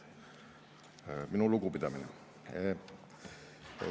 Minu lugupidamine!